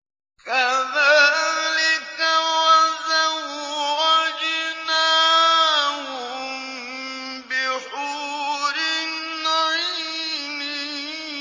كَذَٰلِكَ وَزَوَّجْنَاهُم بِحُورٍ عِينٍ